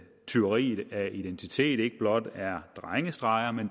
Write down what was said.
tyveri af identitet ikke blot er drengestreger men